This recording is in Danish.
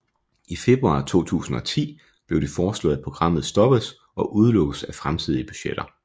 Februar 2010 blev det foreslået at programmet stoppes og udelukkes af fremtidige budgetter